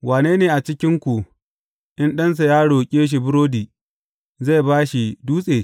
Wane ne a cikinku in ɗansa ya roƙe shi burodi, sai yă ba shi dutse?